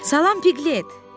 Salam Piqlet!